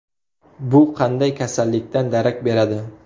Bu qanday kasallikdan darak beradi?